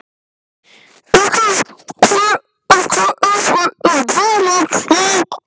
Gustav, hvað er opið lengi í Bónus?